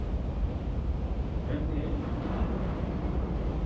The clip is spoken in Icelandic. Hvernig er í vinnunni?